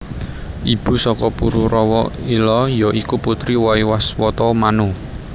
Ibu saka Pururawa Ila ya iku putri Waiwaswata Manu